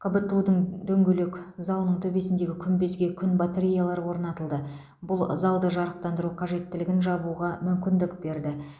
қбту дың дөңгелек залының төбесіндегі күмбезге күн батареялары орнатылды бұл залды жарықтандыру қажеттілігін жабуға мүмкіндік берді